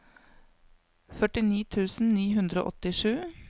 førtini tusen ni hundre og åttisju